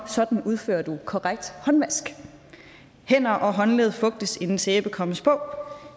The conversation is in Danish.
sådan udfører du korrekt håndvask hænder og håndled fugtes inden sæben kommes på